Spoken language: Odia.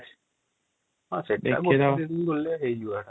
ସେଠୀ ବି ଗୋଟେ ଦିନ ବୁଲିଲେ ବି ହେଇଯିବା |